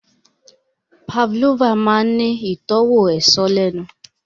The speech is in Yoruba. Pavlova máa ń ní ìtọ́wò èso lẹ́nu